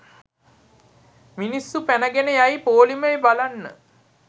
මිනිස්සු පැනගෙන යයි පොලිමේ බලන්න